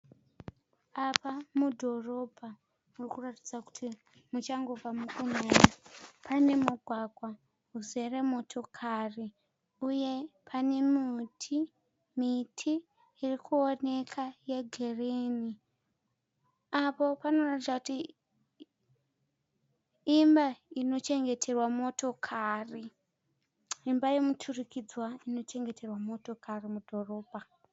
Apa mudhorobha murikuratidza kuti muchangobva mukunaya, pane mugwagwa uzere motokari uye pane miti irikuonekwa yegirini, apo panoratidza kuti imba inochengeterwa motokari, imba yemiturimidzanwa inochengeterwa motokari mudhorobha.